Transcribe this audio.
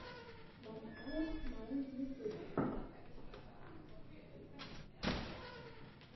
вампайрс майнд ютюб